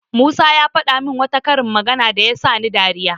Musa ya faɗa min wata karin magana da ta sani dariya.